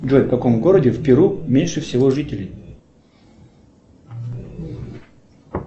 джой в каком городе в перу меньше всего жителей